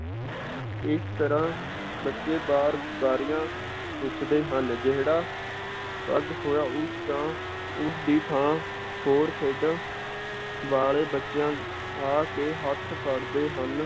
ਇਸ ਤਰਾਂ ਬੱਚੇ ਬਾਰ ਬਾਰੀਆਂ ਪੁੱਛਦੇ ਹਨ ਜਿਹੜਾ ਪੱਗ ਹੋਇਆ ਉਸ ਦਾ ਉਸ ਦੀ ਥਾਂ ਹੋਰ ਖੇਡਾਂ ਵਾਲੇ ਬੱਚਿਆਂ ਆ ਕੇ ਹੱਥ ਫੜਦੇ ਹਨ